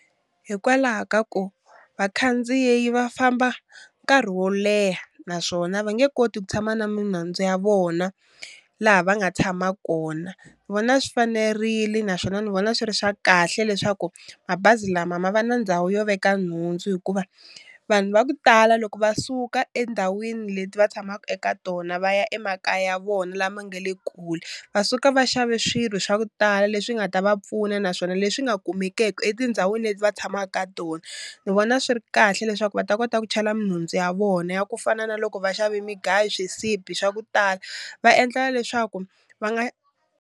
Hikwalaho ka ku vakhandziyi va famba nkarhi wo leha, naswona ve nge koti ku tshama na minhandzu ya vona laha va nga tshama kona. Ni vona swi fanerile naswona ni vona swi ri swa kahle leswaku mabazi lama ma va na ndhawu yo veka nhundzu hikuva vanhu va ku tala loko va suka endhawini leti va tshamaka eka tona va ya emakaya ya vona lama nga le kule, va suka va xave swilo swa ku tala leswi nga ta va pfuna naswona leswi nga kumekeki etindhawini leti va tshamaka ka tona. Ni vona swi ri kahle leswaku va ta kota ku chela minhundzu ya vona ya ku fana na loko va xave migayo swisibi swa ku tala va endlela leswaku va nga.